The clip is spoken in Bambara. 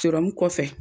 kɔfɛ